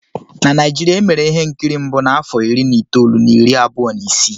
Na Naijiria, e mere ihe nkiri mbụ n'afọ iri na itoolu na iri abụọ na isii